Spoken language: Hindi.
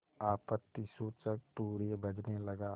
आपत्तिसूचक तूर्य बजने लगा